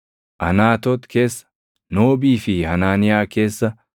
Anaatoot keessa, Noobii fi Hanaaniyaa keessa,